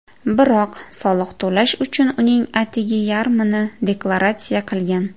Biroq soliq to‘lash uchun uning atigi yarmini deklaratsiya qilgan.